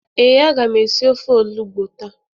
Ee, a ga m esi ofe olugbu taa.